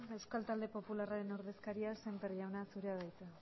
euskal talde popularren ordezkaria sémper jauna zurea da hitza